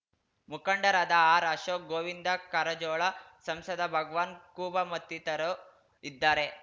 ಮುಖಂಡರಾದ ಆರ್ಅಶೋಕ್ ಗೋವಿಂದ ಕಾರಜೋಳ ಸಂಸದ ಭಗವಾನ್ ಖೂಬಾ ಮತ್ತಿತರು ಇದ್ದಾರೆ